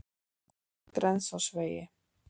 Grensásvegi